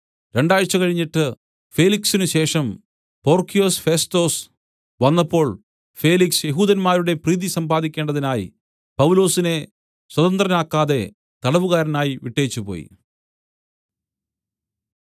രണ്ടാണ്ട് കഴിഞ്ഞിട്ട് ഫേലിക്സിനുശേഷം Porcius Festus വന്നപ്പോൾ ഫേലിക്സ് യെഹൂദന്മാരുടെ പ്രീതി സമ്പാദിക്കേണ്ടതിനായി പൗലൊസിനെ സ്വതന്ത്രനാക്കാതെ തടവുകാരനായി വിട്ടേച്ചു പോയി